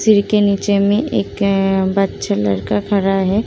सीढ़ी के नीचे में एक बच्चा लड़का खड़ा है।